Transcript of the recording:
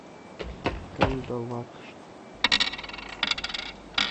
кандалакша